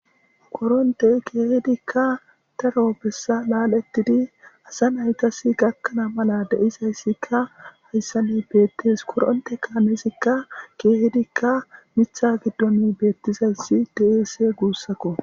goronte keehedikka daro bessa laal7ettidi asa naykasi gakkana mala de7izayssikka hayssani beettes koronte kaameesikka keehedikka mitha giddon beettizayssi deese guussakko